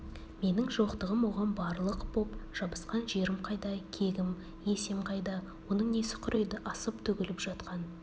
менің жоқтығым оған барлық боп жабысқан жерім қайда кегім есем қайда оның несі құриды асып-төгіліп жатқан